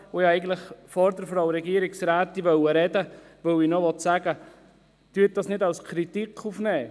Ich wollte vor der Frau Regierungsrätin sprechen, weil ich sie noch bitten wollte, das nicht als Kritik aufzunehmen.